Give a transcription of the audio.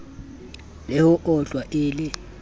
le ho otlwa e le